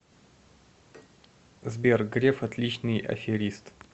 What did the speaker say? сбер греф отличный аферист